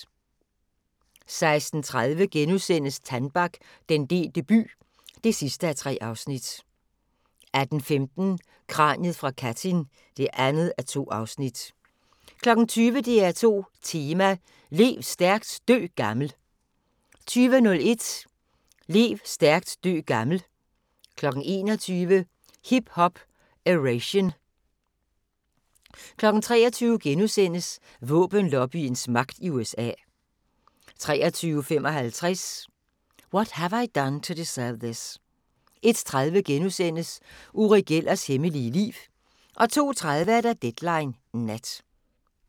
16:30: Tannbach - den delte by (3:3)* 18:15: Kraniet fra Katyn (2:2) 20:00: DR2 Tema: Lev stærkt, dø gammel 20:01: Lev stærkt, dø gammel 21:00: Hip Hop-Eration 23:00: Våbenlobbyens magt i USA * 23:55: What Have I Done to Deserve This? 01:30: Uri Gellers hemmelige liv * 02:30: Deadline Nat